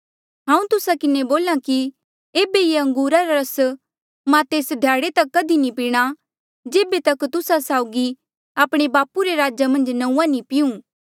हांऊँ तुस्सा किन्हें बोल्हा कि ऐबे ये अंगूरा रा रस मां तेस ध्याड़े तक कधी नी पीणा जेबे तक तुस्सा साउगी आपणे बापू रे राजा मन्झ नंऊँआं नी पिंऊँ